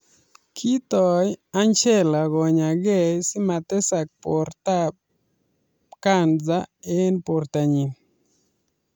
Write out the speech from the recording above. Kitoii angelaa konyaa gee sii matesaak bortab kansa eng borta nyii